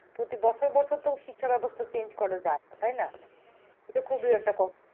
প্রতি বছর বছর তো শিক্ষা ব্যবস্থা change করা যায়না তাই না? এটা খুবই একটা,